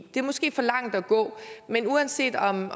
måske for langt at gå men uanset om